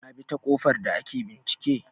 Kabita ƙofar da ake bincike